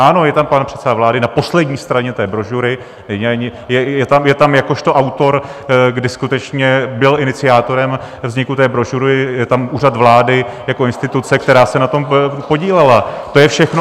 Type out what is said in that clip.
Ano, je tam pan předseda vlády na poslední straně té brožury, je tam jakožto autor, kdy skutečně byl iniciátorem vzniku té brožury , je tam Úřad vlády jako instituce, která se na tom podílela, to je všechno.